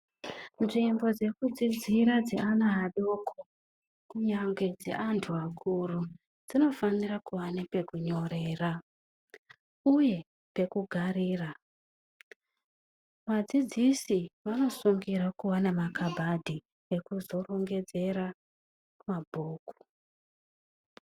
Nzvimbo dzekudzidzira dzeana adoko, kunyangwe dzeantu akuru, dzinofanira kuva nepekunyorera uye pekugarira. Vadzidzisi vanosungirwe kuva nemakabhadhi ekuzorongedzera mabhuku.